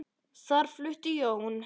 Þar flutti Jón